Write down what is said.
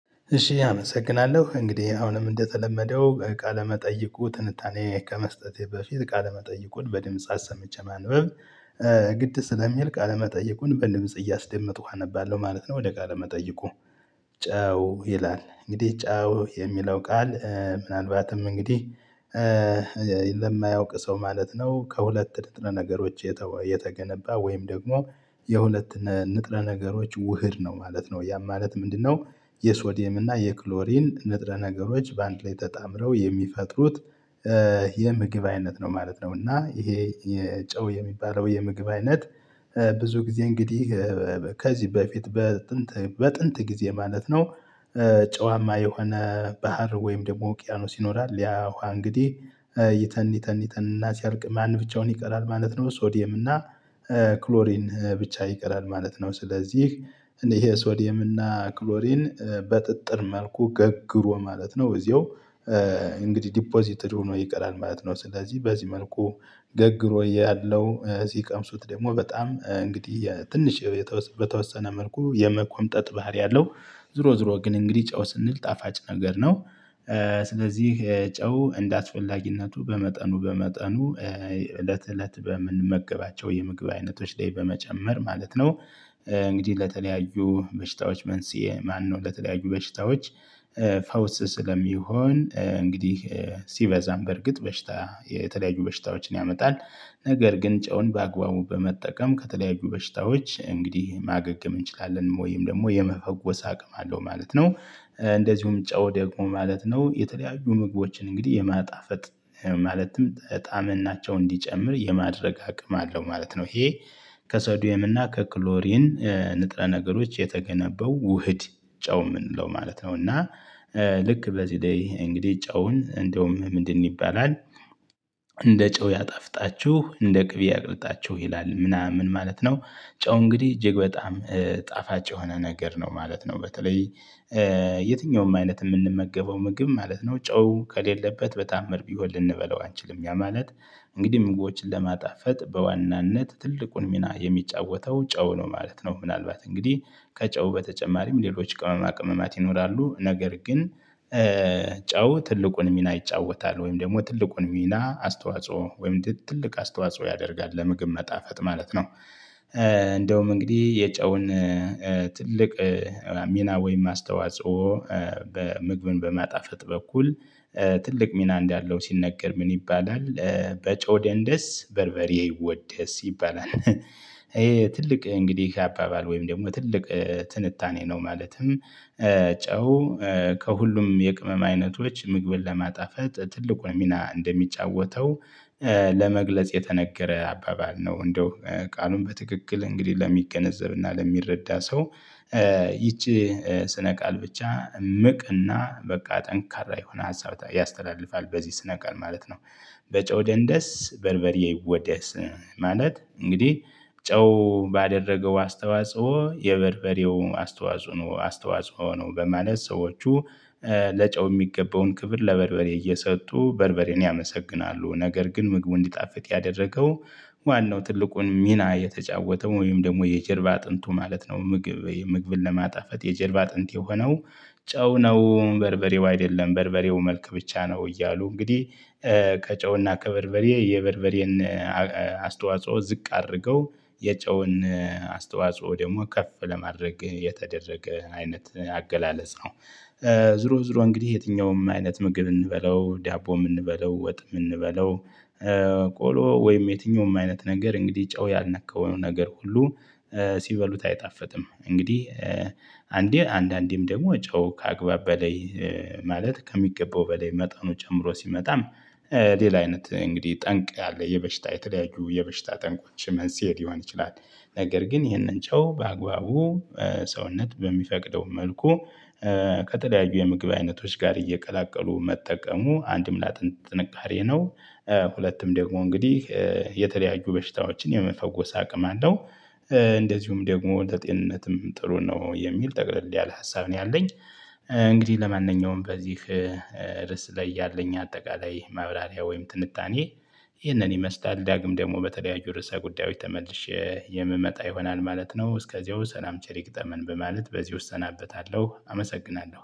እሺ አመሰግናለሁ እንግዲህ አሁንም እንደተለመደው ቃለመጠይቁ ትንታኔ ከመስጠቴ በፊት ቃለመጠይቁን በድምጽ አሰምቼ ማንበብ ግድ ስለሚል ቃለመጠይቁን በድምጽ እያስደመጥኩ አነባለሁ ማለት ነው። ወደ ቃል መጠይቁ? ጨው ይላል እንግዲህ ጨው የሚለው ቃል ምናልባትም እንግዲህ። ለማያውቅ ሰው ማለት ነው ከሁለት ንጥረነገሮች የተገነባ ወይም ደግሞ የሁለት ንጥረ ነገሮች ውህድ ነው ማለት ነው። ያ ማለት ምንድነው? የሶዲየም እና የክሎሪን ንጥረ ነገሮች በአንድ ላይ ተጣምረው የሚፈጥሩት የምግብ አይነት ነው ማለት ነው። እና ይሄ የጨው የሚባለው የምግብ አይነት ብዙ ጊዜ እንግዲህ ከዚህ በፊት በጥንት በጥንት ጊዜ ማለት ነው። ጨዋማ የሆነ ባህር ወይም ደግሞ ውቅያኖስ ይኖራል ያ ዉሃ እንግዲህ ይተን ይተን ይተን እና ሲያልቅ ማን ብቻውን ይቀራል ማለት ነው። ሶዲየም እና ክሎሪን ብቻ ይቀራል ማለት ነው። ስለዚህ ይሄ ሶዲየም እና ክሎሪን በጥጥር መልኩ ገግሮ ማለት ነው እዚያው። እንግዲህ ዲፖዚትድ ሆኖ ይቀራል ማለት ነው። ስለዚህ በዚህ መልኩ ገግሮ ሆይ ያለው ሲቀምሱት ደግሞ በጣም እንግዲህ ትንሽ በተወሰነ መልኩ የመቆምጠጥ ባህሪ አለው። ዞሮ ዞሮ ግን እንግዲህ ጨው ስንል ጣፋጭ ነገር ነው። ስለዚህ ጨው እንዳስፈላጊነቱ በመጠኑ በመጠኑ እለት እለት በምንመገባቸው የምግብ አይነቶች ላይ በመጨመር ማለት ነው። እንግዲህ ለተለያዩ በሽታዎች መንስኤ ማነው ለተለያዩ በሽታዎች። ፈውስ ስለሚሆን እንግዲህ ሲበዛም በርግጥ በሽታ የተለያዩ በሽታዎችን ያመጣል ነገር ግን ጨውን በአግባቡ በመጠቀም ከተለያዩ በሽታዎች እንግዲህ ማገገም እንችላለን ወይም ደግሞ የመፈወስ አቅም አለው ማለት ነው። እንደዚሁም ጨው ደግሞ ማለት ነው የተለያዩ ምግቦችን እንግዲህ የማጣፈጥ ማለትም ጣዕምናቸው እንዲጨምር የማድረግ አቅም አለው ማለት ነው። ይሄ ከሶዲየም እና ከክሎሪን ንጥረ ነገሮች የተገነበው ውህድ ጨው የምንለው ማለት ነው። እና ልክ በዚህ ላይ እንግዲህ ጨውን እንደውም ምንድን ይባላል? እንደ ጨው ያጣፍጣችሁ እንደ ቅቤ ያቅልጣችሁ ይላል ምናምን ማለት ነው። ጨው እንግዲህ እጅግ በጣም ጣፋጭ የሆነ ነገር ነው ማለት ነው። በተለይ የትኛውም አይነት የምንመገበው ምግብ ማለት ነው ጨው ከሌለበት በታዓምር ቢሆን ልንበለው አንችልም ያ ማለት። እንግዲህ ምግቦችን ለማጣፈጥ በዋናነት ትልቁን ሚና የሚጫወተው ጨው ነው ማለት ነው። ምናልባት እንግዲህ ከጨው በተጨማሪም ሌሎች ቅመማ ቅመማት ይኖራሉ ነገር ግን ጫው ትልቁን ሚና ይጫወታል ወይም ደግሞ ትልቁን ሚና አስተዋጽኦ ወይም ትልቅ አስተዋጽኦ ያደርጋል ለምግብ መጣፈጥ ማለት ነው። እንደውም እንግዲህ የጨውን ትልቅ ሚና ወይም ማስተዋጽኦ በምግብን በማጣፈጥ በኩል ትልቅ ሚና እንዳለው ሲነገር ምን ይባላል በጨው ደንደስ በርበሬ ይወደስ ይባላል። ይሄ ትልቅ እንግዲህ አባባል ወይም ደግሞ ትልቅ ትንታኔ ነው። ማለትም ጨው ከሁሉም የቅመም አይነቶች ምግብን ለማጣፈት ትልቁን ሚና እንደሚጫወተው ለመግለጽ የተነገረ አባባል ነው። እንደው ቃሉን በትክክል እንግዲህ ለሚገነዘብ እና ለሚረዳ ሰው ይቺ ስነ ቃል ብቻ እምቅ እና በቃ ጠንካራ የሆነ ሀሳብ ያስተላልፋል በዚህ ስነ ቀን ማለት ነው። በጨው ደንደስ በርበሬ ይወደስ። ማለት እንግዲህ ጨው ባደረገው አስተዋጽኦ የበርበሬው አስተዋጽኦ ነው አስተዋጽኦ ነው በማለት ሰዎቹ ለጨው የሚገባውን ክብር ለበርበሬ እየሰጡ በርበሬን ያመሰግናሉ ነገር ግን ምግቡ እንዲጣፍጥ ያደረገው ዋናው ትልቁን ሚና የተጫወተው ወይም ደግሞ የጀርባ አጥንቱ ማለት ነው። ምግብን ለማጣፈት የጀርባ አጥንት የሆነው ጨው ነው በርበሬው አይደለም በርበሬው መልክ ብቻ ነው እያሉ እንግዲህ። ከጨው እና ከበርበሬ የበርበሬን አስተዋጽኦ ዝቅ አድርገው የጨውን አስተዋጽኦ ደግሞ ከፍ ለማድረግ የተደረገ አይነት አገላለጽ ነው። ዝሮ ዝሮ እንግዲህ የትኛውም አይነት ምግብ እንበለው ዳቦም እንበለው ወጥም እንበለው። ቆሎ ወይም የትኛውም አይነት ነገር እንግዲህ ጨው ያልነካው ነገር ሁሉ ሲበሉት አይጣፈትም እንግዲህ። አንዴ አንዳንዴም ደግሞ ጨው ከአግባብ በላይ ማለት ከሚገባው በላይ መጠኑ ጨምሮ ሲመጣም። ሌላ አይነት እንግዲህ ጠንቅ ያለ የበሽታ የተለያዩ የበሽታ ጠንቆች መንስኤ ሊሆን ይችላል። ነገር ግን ይህንን ጨው በአግባቡ ሰውነት በሚፈቅደው መልኩ ከተለያዩ የምግብ አይነቶች ጋር እየቀላቀሉ መጠቀሙ አንድም ለአጥንት ጥንካሬ ነው። ሁለቱም ደግሞ እንግዲህ የተለያዩ በሽታዎችን የመፈወስ አቅም አለው። እንደዚሁም ደግሞ ለጤንነትም ጥሩ ነው የሚል ጠቅልል ያለ ሀሳብ ነው ያለኝ። እንግዲህ ለማንኛውም በዚህ ርስ ላይ ያለኝ አጠቃላይ ማብራሪያ ወይም ትንታኔ ይህንን ይመስላል ዳግም ደግሞ በተለያዩ ርዕሰ ጉዳዮች ተመልሼ የምመጣ ይሆናል ማለት ነው። እስከዚያው ሰላም ቸር ይግጠመን በማለት በዚህ እሰናበታለሁ አመሰግናለሁ